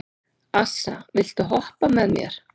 Assa, viltu hoppa með mér?